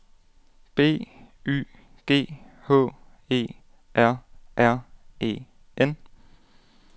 B Y G H E R R E N